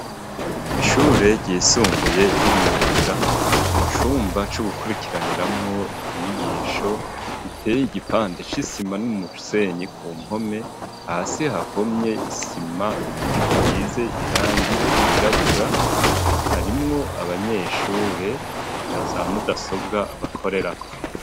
Ishure ryisumbuye ry'imyuga mu cumba co gukurikiraniramwo inyigisho giteye igipande c'isima n'umusenyi ku mpome hasi hahomye isima isize irangi ryirabura harimwo abanyeshure naza mudasobwa bakorerako.